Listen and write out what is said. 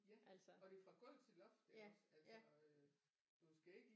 Ja og det er fra gulv til loft iggås altså øh du skal ikke lige